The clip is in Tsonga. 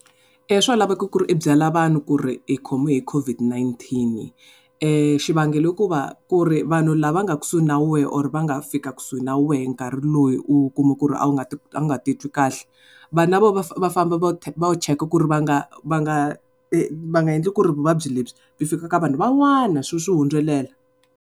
Swa laveko ku ri u byela vanhu ku ri u khomiwe hi COVID-19 xivangelo i ku va ku ri vanhu lava nga kusuhi na we or va nga fika kusuhi na we nkarhi loyi u kuma ku ri a wu nga ti a wu nga ti twi kahle vanhu lava va va famba va ya check-a ku ri va nga va nga va nga endli ku ri vuvabyi lebyi byi fika ka vanhu van'wana swi swi hundzelela.